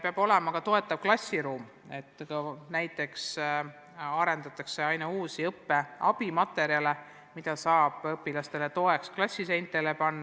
Peab olema ka toetav klassiruum, näiteks luuakse aina uusi õppe abimaterjale, mida saab õpilastele toeks klassiseintele panna.